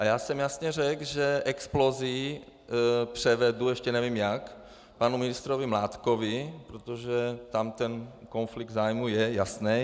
A já jsem jasně řekl, že Explosii převedu, ještě nevím jak, panu ministrovi Mládkovi, protože tam ten konflikt zájmu je jasný.